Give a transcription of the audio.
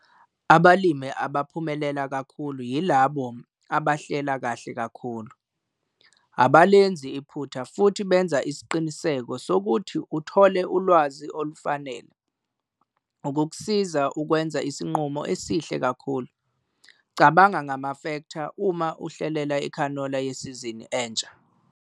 Abalimi abaphumelela kakhulu yilabo abahlela kahle kakhulu. Abalenzi iphutha futhi benza isiqiniseko sokuthi uthole ulwazi olufanele ukukusiza ukwenza isinqumo esihle kakhulu. Cabanga ngamafektha uma uhlelela ikhanola yesizini entsha.